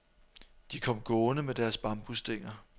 De kom gående med deres bambusstænger.